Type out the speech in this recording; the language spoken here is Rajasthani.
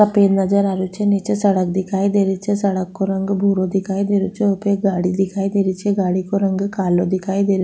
सफ़ेद नजर आ रहियो छे नीचे सड़क दिखाई दे रही छे सड़क को रंग भूरो दिखाई दे रहियो छे वहा पे एक गाड़ी दिखाई दे रही छे गाड़ी को रंग कालो दिखाई दे --